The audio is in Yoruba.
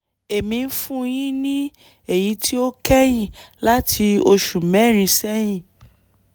èmi ń fún un ní èyí tí ó kẹ́yìn láti oṣù mẹ́rin sẹ́yìn